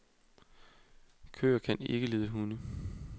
Køer kan ikke lide hunde.